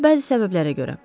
Bəzi səbəblərə görə.